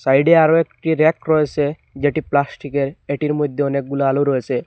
সাইডে আরও একটি ব়্যাক রয়েসে যেটি প্লাস্টিকের এটির মইধ্যে অনেকগুলো আলু রয়েসে।